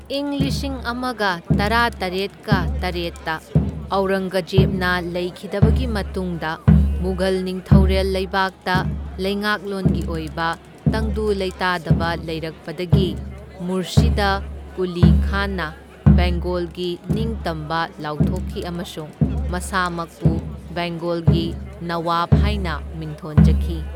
ꯢꯪ ꯂꯤꯁꯤꯡ ꯑꯃꯒ ꯇꯔꯥꯇꯔꯦꯠꯀ ꯇꯔꯦꯠꯇ ꯑꯧꯔꯪꯒꯖꯦꯕꯅ ꯂꯩꯈꯤꯗꯕꯒꯤ ꯃꯇꯨꯡꯗ ꯃꯨꯘꯜ ꯅꯤꯡꯊꯧꯔꯦꯜ ꯂꯩꯕꯥꯛꯇ ꯂꯩꯉꯥꯛꯂꯣꯟꯒꯤ ꯑꯣꯏꯕ ꯇꯪꯗꯨ ꯂꯩꯇꯥꯗꯕ ꯂꯩꯔꯛꯄꯗꯒꯤ ꯃꯨꯔꯁꯤꯗ ꯀꯨꯂꯤ ꯈꯥꯟꯅ ꯕꯦꯡꯒꯣꯜꯒꯤ ꯅꯤꯡꯇꯝꯕ ꯂꯥꯎꯊꯣꯛꯈꯤ ꯑꯃꯁꯨꯡ ꯃꯁꯥꯃꯛꯄꯨ ꯕꯦꯡꯒꯣꯜꯒꯤ ꯅꯋꯥꯕ ꯍꯥꯏꯅ ꯃꯤꯡꯊꯣꯟꯖꯈꯤ꯫